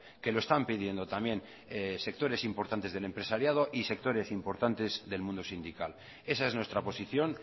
que lo están pidiendo también sectores importantes del empresariado y sectores importantes del mundo sindical esa es nuestra posición